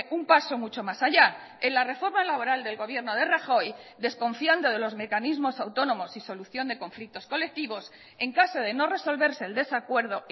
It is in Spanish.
un paso mucho más haya en la reforma laboral del gobierno de rajoy desconfiando de los mecanismos autónomos y solución de conflictos colectivos en caso de no resolverse el desacuerdo